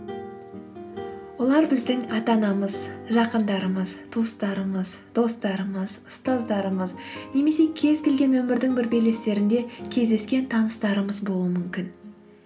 олар біздің ата анамыз жақындарымыз туыстарымыз достарымыз ұстаздарымыз немесе кез келген өмірдің бір белестерінде кездескен таныстарымыз болуы мүмкін